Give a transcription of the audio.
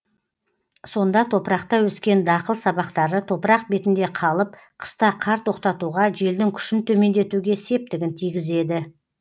сонда топырақта өскен дақыл сабақтары топырақ бетінде қалып қыста қар тоқтатуға желдің күшін төмендетуге септігін тигізеді